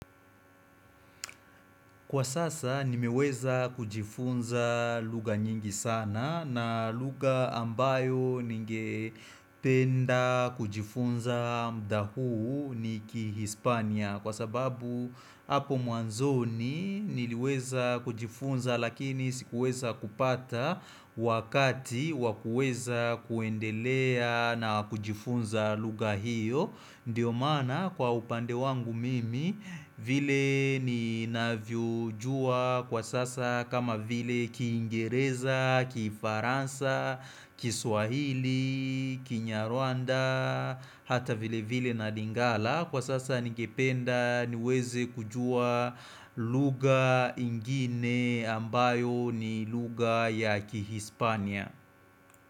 Kwa sasa nimeweza kujifunza lugha nyingi sana, na lugha ambayo ningependa kujifunza muda huu ni kihispania. Kwa sababu hapo mwanzoni niliweza kujifunza lakini sikuweza kupata wakati wakuweza kuendelea na kujifunza lugha hiyo. Ndiyo maana kwa upande wangu mimi, vile ninavyojua kwa sasa kama vile kiingereza, kifaransa, kiswahili, kinyarwanda, hata vile vile na lingala, kwa sasa nigependa niweze kujua lugha ingine ambayo ni lugha ya kihispania.